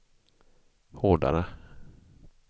hårdare